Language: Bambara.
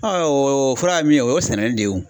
o fura ye min ye, o ye sɛnɛli de ye o.